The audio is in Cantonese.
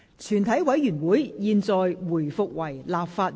全體委員會現在回復為立法會。